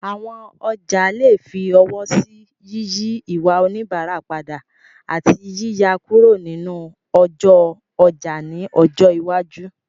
Àwọn ọjà lè fi ọwọ́ sí yíyí ìwà oníbàárà padà, àti yíyà kúrò nínú ọjọ́ ọjà ní ọjọ́ iwájú.